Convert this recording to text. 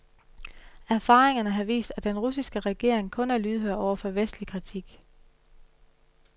Erfaringerne har vist, at den russiske regering kun er lydhør over for vestlig kritik.